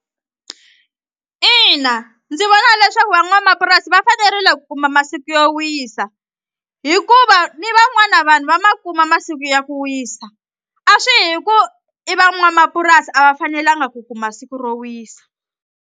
Ina ndzi vona leswaku van'wamapurasi va fanerile kuma masiku yo wisa hikuva ni van'wana vanhu va ma kuma masiku ya ku wisa a swi hi ku i van'wamapurasi a va fanelanga ku kuma siku ro wisa.